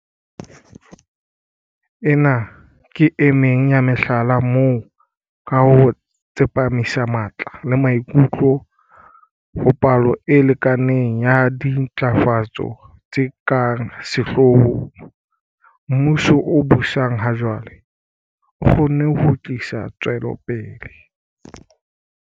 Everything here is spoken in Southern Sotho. Ena ke emeng ya mehlala moo, ka ho tsepamisa matla le maikutlo ho palo e lekaneng ya dintlafatso tse ka sehloohong, mmuso o busang ha jwale o kgonne ho tlisa tswelopele.